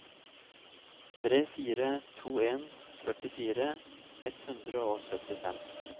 tre fire to en førtifire ett hundre og syttifem